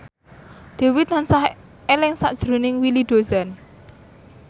Dewi tansah eling sakjroning Willy Dozan